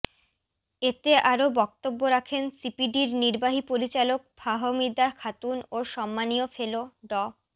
এতে আরও বক্তব্য রাখেনসিপিডির নির্বাহী পরিচালক ফাহমিদা খাতুন ও সম্মানীয় ফেলো ড